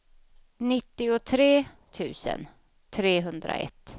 nittiotre tusen trehundraett